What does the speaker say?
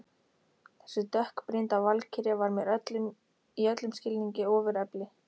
Þessi dökkbrýnda valkyrja var mér í öllum skilningi ofurefli.